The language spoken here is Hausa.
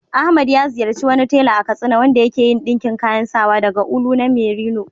Ahmad ya ziyarci wani tela a Katsina wanda ya ke yin ɗinkin kayan sawa daga ulu na merino.